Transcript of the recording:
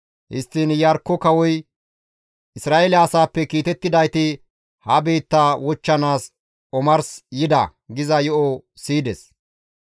Histtiin Iyarkko kawoy, «Isra7eele asaappe kiitettidayti ha biitta wochchanaas omars yida» giza yo7o siyides.